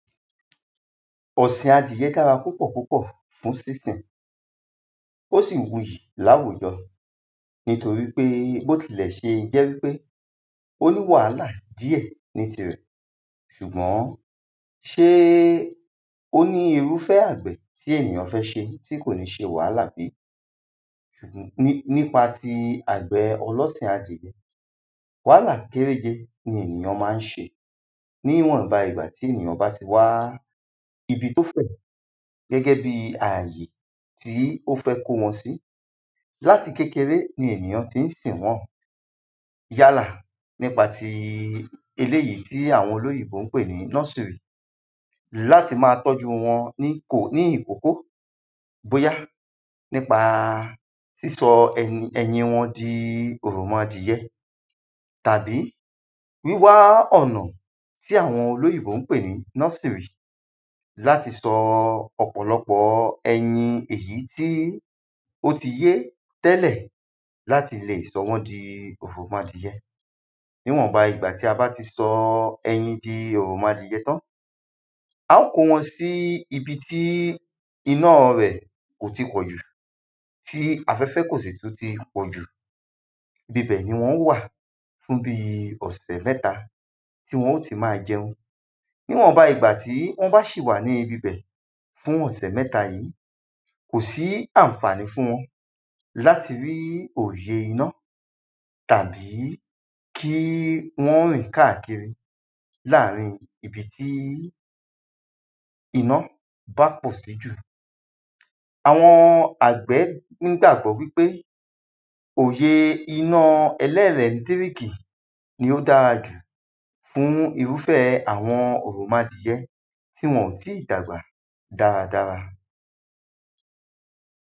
Ọ̀sìn adìyẹ dára púpọ̀ púpọ̀ fún sísìn ó sì wuyì láwùjọ nítorípé bó tilẹ̀ṣe jẹ́ wípé ó ní wàhálà díẹ̀ nítirẹ̀ ṣùgbọ́n ṣé ó ní irúfẹ́ àgbẹ̀ téyàn fẹ́ ṣe tí kò ní ṣe wàhálà sí? Nípa nípa ti àgbẹ̀ ọlọ́sìn adìyẹ wàhálà kéréje ni ènìyàn má ń ṣe níwọ̀nba ìgbà tí ènìyàn bá ti wá ibi tó fẹ̀ gẹ́gẹ́ bí àyè tí ó fẹ́ kó wọn sí. láti kékeré ni ènìyàn tí ń sìn wọ́n yálà nípa ti eléèyí tí àwọn olóyìnbó ń pè ní nọ́sìrì láti má tọ́jú wọn ní ìkókó bóyá nípa ìsọ ẹyin wọn di òròmọdìẹ tàbí wíwá ọ̀nà tí àwọn olóyìnbó ń pè ní nọ́sìrì láti sọ ọ̀pọ̀lọpọ̀ ẹyin èyí tí ó ti yé tẹ́lẹ̀ láti le sọ wọ́n di òròmọdìẹ Níwọ̀nba ìgbà tí a bá ti sọ ẹyin di òròmọdìyẹ tán á ó kó wọn sí ibi tí iná rẹ̀ kò ti pọ̀ jù tí afẹ́fẹ́ kò sì tún ti pọ̀ jù ibibẹ̀ ni wọn ó wà fún bí ọ̀sẹ̀ mẹ́ta tí wọ́n ó ti má jẹun níwọ̀nba ìgbà tí wọ́n bá ṣì wà ní ibi bẹ̀ fún ọ̀sẹ̀ mẹ́ta yìí kò sí ànfàní fún wọn láti rí òye iná tàbí kí wọ́n rìn káàkiri láàrin ibi tí iná bá tàn sí jù. Àwọn àgbẹ̀ nígbàgbọ́ wípé òye iná ẹlẹ́lẹ̀tíríkì ni ó dára jù fún irúfẹ́ àwọn òròmọdìyẹ tí wọn ò tí dàgbà dára dára.